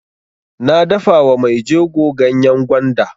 Na dafa wa mai jego ganyan gwanda.